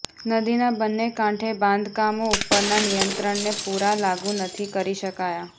નદીના બંને કાંઠે બાંધકામો ઉપરના નિયંત્રણને પુરા લાગુ નથી કરી શકાયા